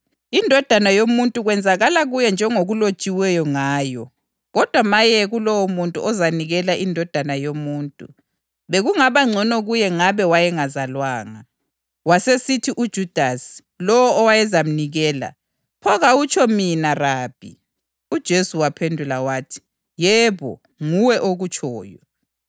INdodana yoMuntu kwenzakala kuyo njengoba kulotshiwe ngayo. Kodwa maye kulowomuntu ozanikela iNdodana yoMuntu! Bekungaba ngcono kuye ngabe wayengazalwanga.”